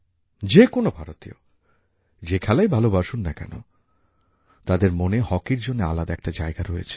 যে কোনো ভারতীয় যে খেলাই ভালোবাসুন না কেন তাদের মনে হকির জন্য আলাদা একটা জায়গা রয়েছে